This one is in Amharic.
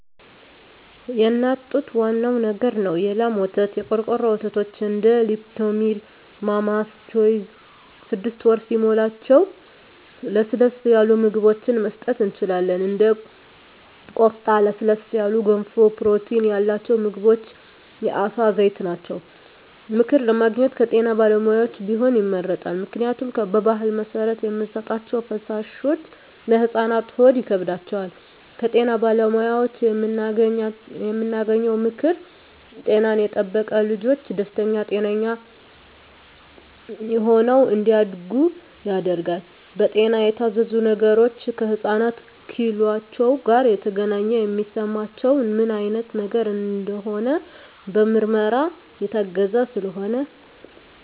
የእናት ጡት ዋናው ነገር ነው የላም ወተት , የቆርቆሮ ወተቶች እንደ ሊፕቶሚል ማማስ ቾይዥ ስድስት ወር ሲሞላቸው ለስለስ ያሉ ምግብችን መስጠት እንችላለን እንደ ቆስጣ ለስለስ ያሉ ገንፎ ፕሮቲን ያላቸው ምግቦች የአሳ ዘይት ናቸው። ምክር ለማግኘት ከጤና ባለሙያዎች ቢሆን ይመረጣል ምክንያቱም በባህል መሰረት የምንሰጣቸዉ ፈሳሾች ለህፃናት ሆድ ይከብዳቸዋል። ከጤና ባለሙያዎች የምናገኘው ምክር ጤናን የጠበቀ ልጅች ደስተኛ ጤነኛ ሆነው እንዳድጉ ያደርጋል። በጤና የታዘዙ ነገሮች ከህፃናት ኪሏቸው ጋር የተገናኘ የሚስማማቸው ምን አይነት ነገር እንደሆነ በምርመራ የታገዘ ስለሆነ